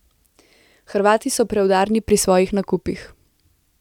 Hrvati so preudarni pri svojih nakupih.